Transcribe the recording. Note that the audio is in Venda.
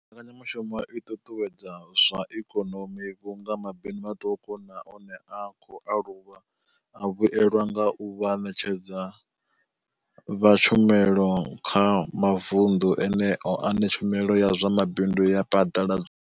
Mbekanyamushumo i ṱuṱuwedza zwa ikonomi vhunga mabindu maṱuku na one a khou aluwa a vhuelwa nga u vha vhaṋetshedzi vha tshumelo kha mavundu eneyo ane tshumelo ya zwa mabindu ya phaḓaladzwa.